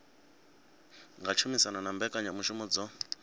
nga tshumisano na mbekanyamushumo dzo